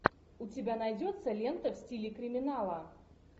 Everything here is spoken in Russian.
у тебя найдется лента в стиле криминала